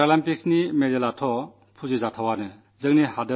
പാരാഒളിമ്പിക്സിലെ മെഡലുകൾക്ക് അതിന്റേതായ മഹത്വമുണ്ട്